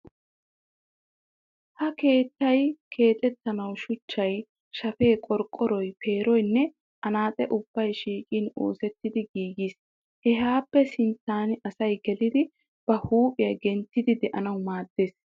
Ha keettay keexettanawu shuchchay, shafee, qorqqoroy, peeroynne anaaxee ubbay shiiqin oosettidi giigees. Hehaappe sinttan asy gelidi ba huuphiya genttidi de'anawu maaddees.